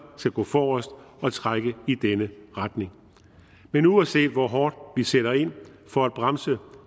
skal gå forrest og trække i den retning men uanset hvor hårdt vi sætter ind for at bremse